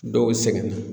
Dɔw sɛgɛnna